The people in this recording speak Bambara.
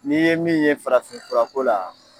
N'i ye min ye farafin furako la